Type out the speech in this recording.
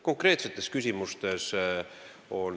Konkreetsetest küsimustest.